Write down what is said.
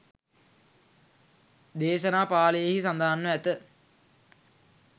දේශනා පාලියෙහි සඳහන්ව ඇත.